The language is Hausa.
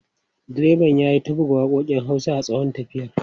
Direban ya yi ta buga waƙoƙin Hausa a tsawon tafiyar.